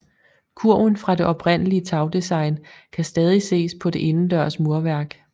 Kurven fra det oprindelige tagdesign kan stadig ses på det indendørs murværk